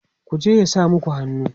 ku je ya sa maku hannu!